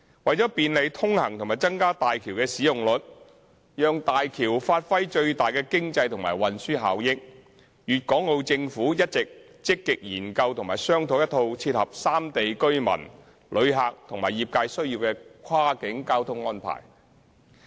為便利通行及增加大橋的使用率，讓大橋發揮最大的經濟和運輸效益，粵港澳政府一直積極研究和商訂一套切合三地居民、旅客和業界需要的跨境交通安排。